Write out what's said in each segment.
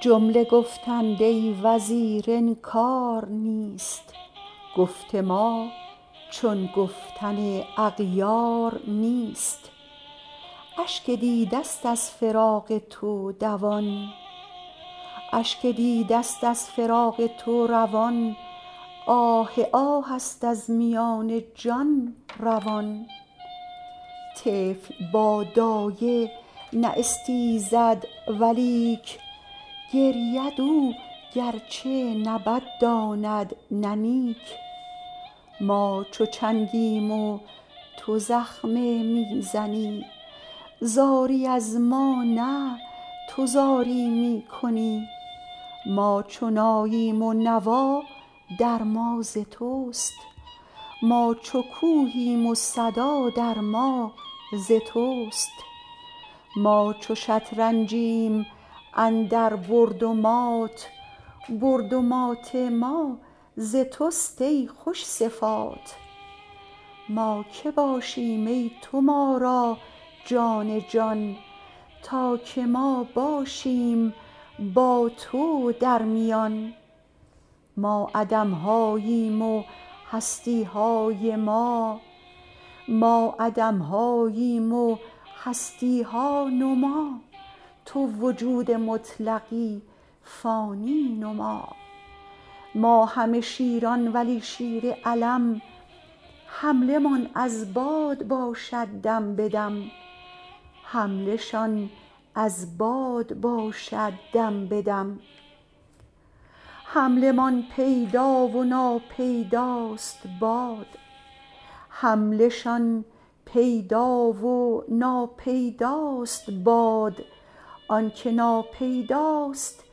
جمله گفتند ای وزیر انکار نیست گفت ما چون گفتن اغیار نیست اشک دیده ست از فراق تو دوان آه آه ست از میان جان روان طفل با دایه نه استیزد ولیک گرید او گرچه نه بد داند نه نیک ما چو چنگیم و تو زخمه می زنی زاری از ما نه تو زاری می کنی ما چو ناییم و نوا در ما ز توست ما چو کوهیم و صدا در ما ز توست ما چو شطرنجیم اندر برد و مات برد و مات ما ز توست ای خوش صفات ما که باشیم ای تو ما را جان جان تا که ما باشیم با تو درمیان ما عدم هاییم و هستی های ما تو وجود مطلقی فانی نما ما همه شیران ولی شیر علم حمله شان از باد باشد دم به دم حمله شان پیدا و ناپیداست باد آنک ناپیداست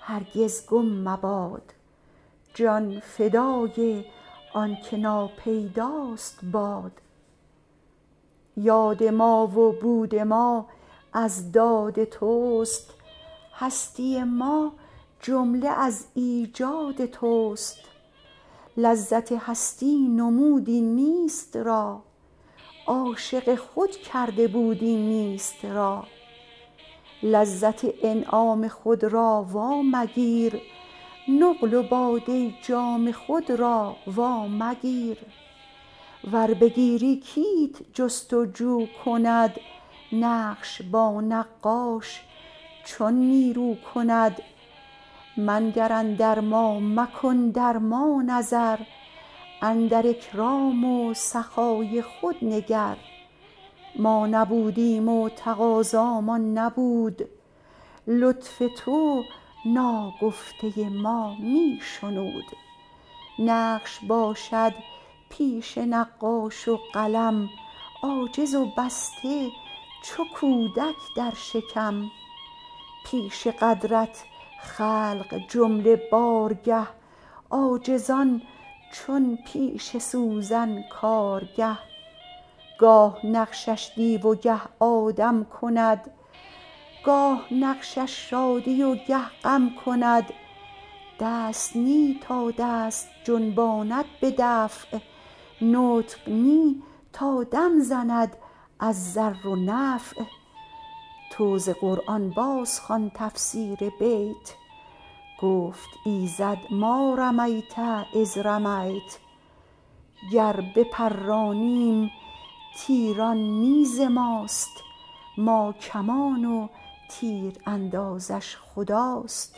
هرگز گم مباد باد ما و بود ما از داد توست هستی ما جمله از ایجاد توست لذت هستی نمودی نیست را عاشق خود کرده بودی نیست را لذت انعام خود را وا مگیر نقل و باده و جام خود را وا مگیر ور بگیری کیت جست و جو کند نقش با نقاش چون نیرو کند منگر اندر ما مکن در ما نظر اندر اکرام و سخای خود نگر ما نبودیم و تقاضامان نبود لطف تو ناگفته ما می شنود نقش باشد پیش نقاش و قلم عاجز و بسته چو کودک در شکم پیش قدرت خلق جمله بارگه عاجزان چون پیش سوزن کارگه گاه نقشش دیو و گه آدم کند گاه نقشش شادی و گه غم کند دست نه تا دست جنباند به دفع نطق نه تا دم زند در ضر و نفع تو ز قرآن بازخوان تفسیر بیت گفت ایزد ما رميۡت إذۡ رميۡت گر بپرانیم تیر آن نه ز ماست ما کمان و تیراندازش خداست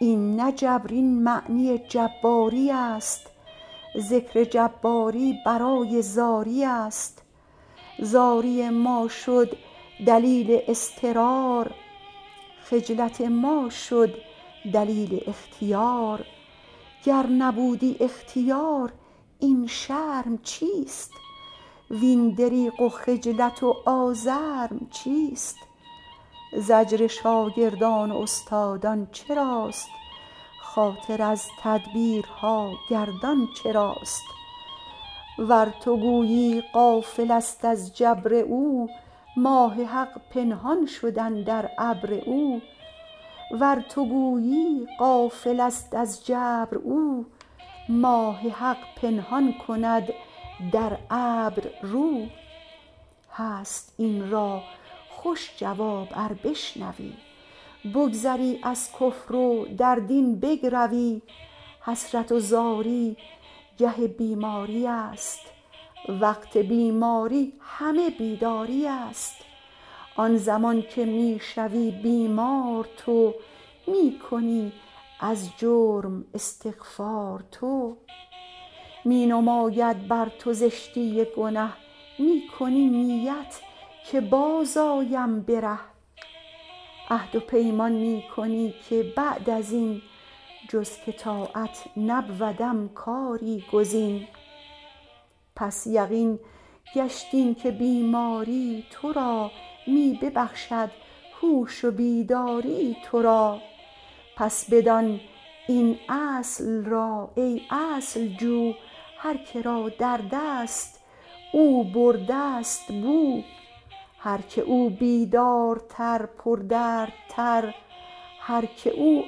این نه جبر این معنی جباری است ذکر جباری برای زاری است زاری ما شد دلیل اضطرار خجلت ما شد دلیل اختیار گر نبودی اختیار این شرم چیست وین دریغ و خجلت و آزرم چیست زجر شاگردان و استادان چراست خاطر از تدبیرها گردان چراست ور تو گویی غافل است از جبر او ماه حق پنهان کند در ابر رو هست این را خوش جواب ار بشنوی بگذری از کفر و در دین بگروی حسرت و زاری گه بیماری است وقت بیماری همه بیداری است آن زمان که می شوی بیمار تو می کنی از جرم استغفار تو می نماید بر تو زشتی گنه می کنی نیت که باز آیم به ره عهد و پیمان می کنی که بعد ازین جز که طاعت نبودم کاری گزین پس یقین گشت این که بیماری تو را می ببخشد هوش و بیداری تو را پس بدان این اصل را ای اصل جو هر که را دردست او برده ست بو هر که او بیدارتر پردردتر هر که او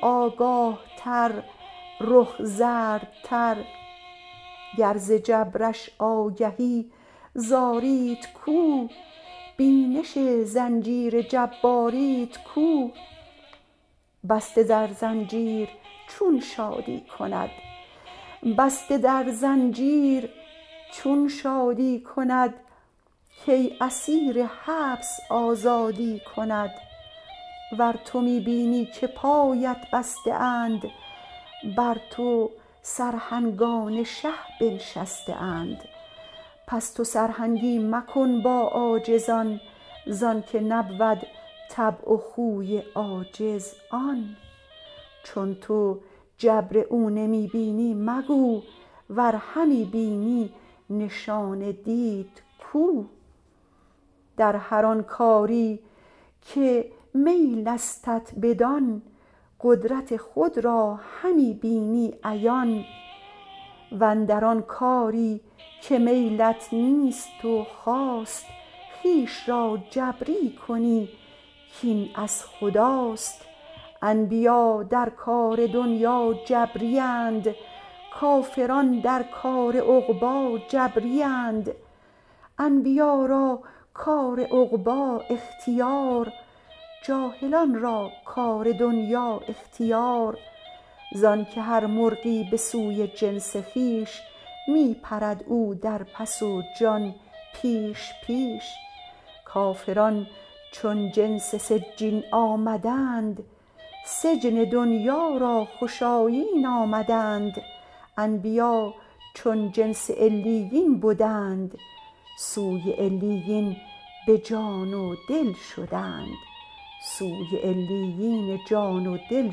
آگاه تر رخ زردتر گر ز جبرش آگهی زاریت کو بینش زنجیر جباریت کو بسته در زنجیر چون شادی کند کی اسیر حبس آزادی کند ور تو می بینی که پایت بسته اند بر تو سرهنگان شه بنشسته اند پس تو سرهنگی مکن با عاجزان زانک نبود طبع و خوی عاجز آن چون تو جبر او نمی بینی مگو ور همی بینی نشان دید کو در هر آن کاری که میلستت بدان قدرت خود را همی بینی عیان واندر آن کاری که میلت نیست و خواست خویش را جبری کنی کین از خداست انبیا در کار دنیا جبری اند کافران در کار عقبی جبری اند انبیا را کار عقبی اختیار جاهلان را کار دنیا اختیار زانک هر مرغی به سوی جنس خویش می پرد او در پس و جان پیش پیش کافران چون جنس سجین آمدند سجن دنیا را خوش آیین آمدند انبیا چون جنس علیین بدند سوی علیین جان و دل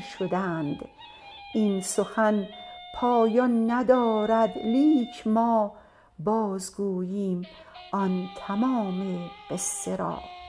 شدند این سخن پایان ندارد لیک ما باز گوییم آن تمام قصه را